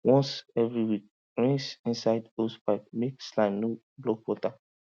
once every week rinse inside hosepipe make slime no block water